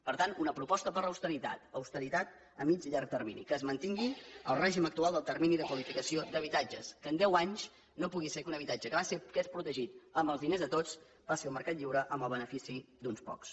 per tant una proposta per l’austeritat austeritat a mig i llarg termini que es mantingui el règim actual del termini de qualificació d’habitatges que en deu anys no pugui ser que un habitatge que és protegit amb els diners de tots passi al mercat lliure amb el benefi ci d’uns pocs